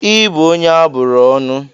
Ị bụ onye a bụrụ ọnụ!